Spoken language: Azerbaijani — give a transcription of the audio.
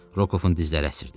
Rokovun dizləri əsirdi.